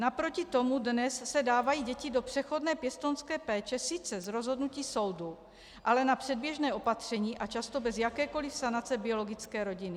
Naproti tomu dnes se dávají děti do přechodné pěstounské péče sice z rozhodnutí soudu, ale na předběžné opatření a často bez jakékoli sanace biologické rodiny.